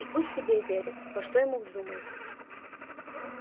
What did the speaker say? и пусть себе верит во что ему вздумается